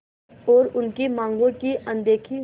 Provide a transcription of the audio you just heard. और उनकी मांगों की अनदेखी